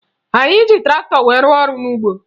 Anyị ji traktọ wee rụọ ọrụ n'ugbo